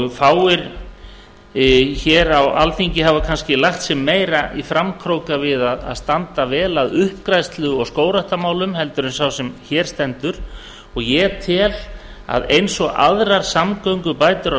og fáir hér á alþingi hafa kannski lagt sig meira í framkróka við að standa vel að uppgræðslu og skógræktarmálum en sá sem hér stendur og ég tel að eins og aðrar samgöngubætur á